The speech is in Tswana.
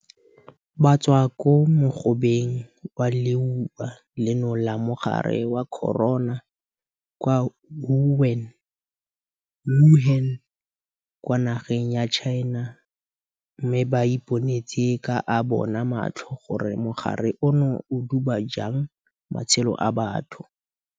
Ba tswa ko mogobeng wa leuba leno la mogare wa corona kwa Wuhan kwa nageng ya China mme ba iponetse ka a bona matlho gore mogare ono o duba jang matshelo a batho.